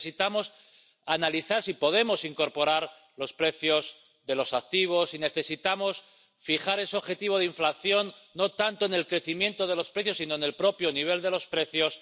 Necesitamos analizar si podemos incorporar los precios de los activos, o si necesitamos fijar ese objetivo de inflación no tanto en el crecimiento de los precios, sino en el propio nivel de los precios.